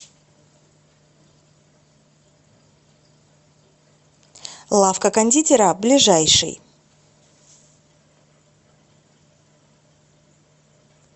лавка кондитера ближайший